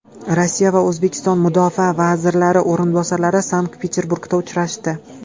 Rossiya va O‘zbekiston mudofaa vazirlari o‘rinbosarlari Sankt-Peterburgda uchrashdi.